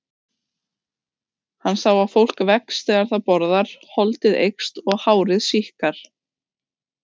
Hann sá að fólk vex þegar það borðar, holdið eykst og hárið síkkar.